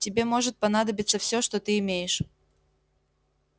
тебе может понадобиться все что ты имеешь